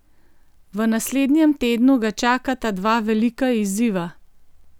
V naslednjem tednu ga čakata dva velika izziva.